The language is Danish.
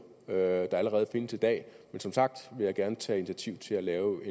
der allerede findes i dag men som sagt vil jeg gerne tage initiativ til at lave